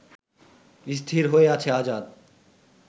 স্থির হয়ে আছে আজাদ